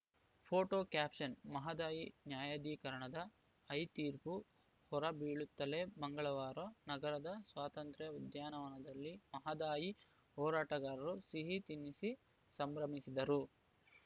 photo caption Mahadayi ನ್ಯಾಯಾಧಿಕರಣದ ಐತೀರ್ಪು ಹೊರಬೀಳುತ್ತಲೇ ಮಂಗಳವಾರ ನಗರದ ಸ್ವಾತಂತ್ರ್ಯ ಉದ್ಯಾನದಲ್ಲಿ ಮಹದಾಯಿ ಹೋರಾಟಗಾರರು ಸಿಹಿ ತಿನ್ನಿಸಿ ಸಂಭ್ರಮಿಸಿದರು